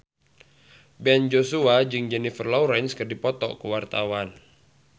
Ben Joshua jeung Jennifer Lawrence keur dipoto ku wartawan